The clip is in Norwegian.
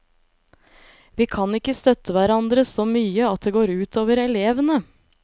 Vi kan ikke støtte hverandre så mye at det går ut over elevene.